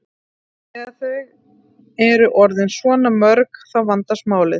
Þegar þau eru orðin svona mörg þá vandast málið.